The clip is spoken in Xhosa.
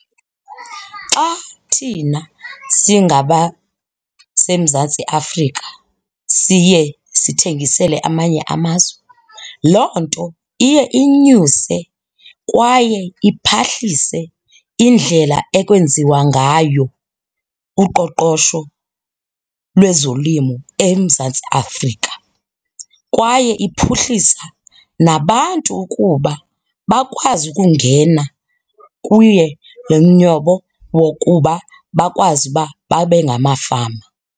Xa thina singabaseMzantsi Afrika siye sithengisele amanye amazwe loo nto iye inyuse kwaye iphahlise indlela ekwenziwa ngayo uqoqosho lwezolimo eMzantsi Afrika kwaye iphuhlisa nabantu ukuba bakwazi ukungena kuye lo wokuba bakwazi ukuba babe ngamafama.